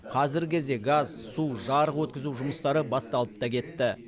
қазіргі кезде газ су жарық өткізу жұмыстары басталып та кетті